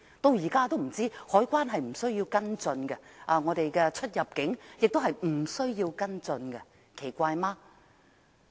直至現在，海關似乎不需要跟進未知的實情，而我們的出入境紀錄亦不需要跟進，這樣不奇怪嗎？